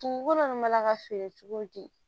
Dugukolo nunnu mana ka feere cogo di